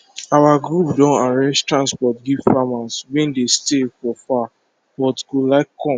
our group don arrange transport give farmer wey dey stay for far but go like come